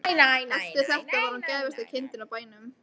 Eftir þetta var hún gæfasta kindin á bænum.